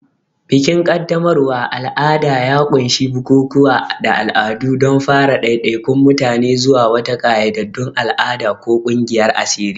Bikin qaddamarwa al'ada ya ƙunshi bukukuwa da al'adu don fara ɗaiɗaikun mutane zuwa wata ƙayyadaddun al'ada ko ƙungiyar asiri.